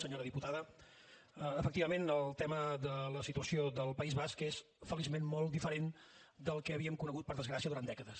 senyora diputada efectivament el tema de la situació del país basc és feliçment molt diferent del que havíem conegut per desgràcia durant dècades